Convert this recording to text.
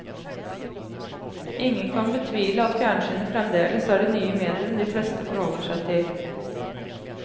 Ingen kan betvile at fjernsyn fremdeles er det nye medium de fleste forholder seg til.